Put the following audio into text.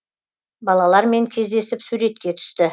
балалармен кездесіп суретке түсті